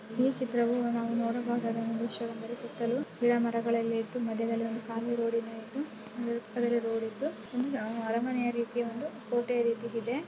ಈ ಚಿತ್ರದಲ್ಲಿ ನಾವು ನೋಡುವುದಾದ ಒಂದು ವಿಷ್ಯ ಏನೆಂದರೆ ಸುತ್ತಲೂ ಗಿಡ ಮರಗಳೆಲ್ಲವೂ ಇದ್ದು ಮಧ್ಯದಲ್ಲಿ ಒಂದು ಖಾಲಿ ರೋಡ್ ಏನೋ ಇದ್ದು ಆ ಕಡೆ ರೋಡಿ ದ್ದು ಅರಮನೆ ರೀತಿ ಒಂದು ಕೋಟೆ ರೀತಿ ಇದೆ.